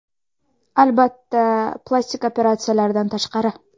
Albatta, plastik operatsiyalardan tashqari.